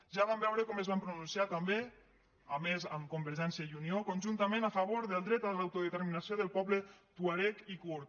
ja vam veure com es van pronunciar també a més amb convergència i unió conjuntament a favor del dret a l’autodeterminació del poble tuareg i kurd